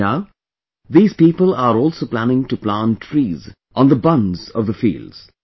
Now, these people are also planning to plant trees on the bunds of the fields